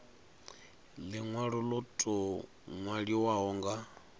linwalo lo tou nwaliwaho nga